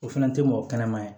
O fana tɛ mɔgɔ kɛnɛma ye